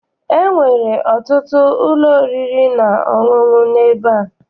Enwere ọtụtụ ụlọ oriri na ọṅụṅụ n'ebe a.